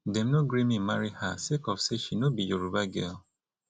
dem no gree me marry her sake of say she no be yoruba girl